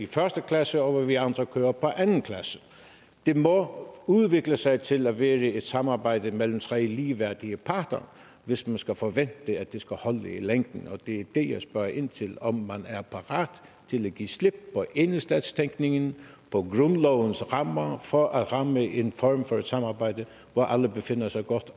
første klasse og vi andre kører på anden klasse det må udvikle sig til at være et samarbejde mellem tre ligeværdige parter hvis man skal forvente at det skal holde i længden og det er det jeg spørger ind til altså om man er parat til at give slip på enhedsstatstænkningen på grundlovens rammer for at ramme en form for samarbejde hvor alle befinder sig godt